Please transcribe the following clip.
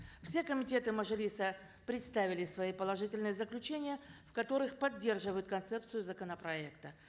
все комитеты мажилиса представили свои положительные заключения в которых поддерживают концепцию законопроекта